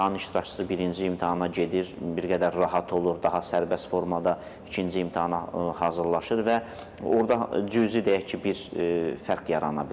İmtahan iştirakçısı birinci imtahana gedir, bir qədər rahat olur, daha sərbəst formada ikinci imtahana hazırlaşır və orda cüzi deyək ki, bir fərq yarana bilər.